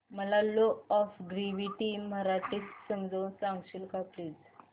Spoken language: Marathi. मला लॉ ऑफ ग्रॅविटी मराठीत समजून सांगशील का प्लीज